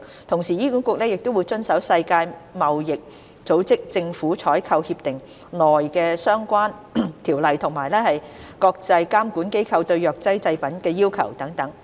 同時，醫管局亦會遵守《世界貿易組織政府採購協定》內相關的條例及國際監管機構對藥劑製品的要求等。